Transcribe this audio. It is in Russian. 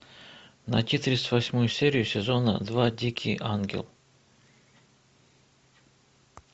найти тридцать восьмую серию сезона два дикий ангел